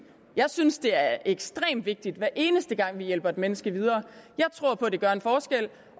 jeg synes det er ekstremt vigtigt hver eneste gang vi hjælper et menneske videre jeg tror på at det gør en forskel